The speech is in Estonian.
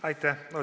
Aitäh!